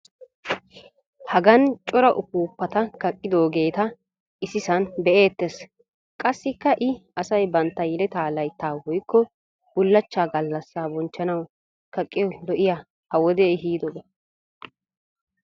Hagan cora upuuppata kaqqidoogeeta issisan be'eetees. qassiikka i asay bantta yeletaa laytta woykko bulachchaa galassaa bonchchanawu kaqqiyo loiya ha wodee ehiidoba.